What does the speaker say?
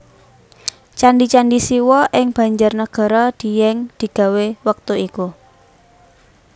Candi candi Siwa ing Banjarnagara Dieng digawé wektu iku